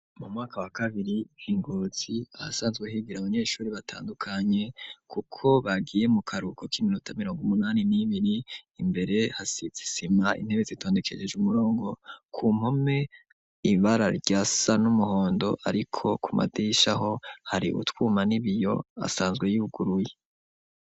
Mu mwaka wa kabiri ingozi ahasanzwe higira abanyeshuri batandukanye, kuko bagiye mu karuko k'iminota mirongo umunani n'ibiri imbere hasi isima intebe zitondekesheje umurongo ku mpome ibara rya sa n'umuhondo, ariko kumadishaho hari utwuma n'ibiyo asanzwe yugurua.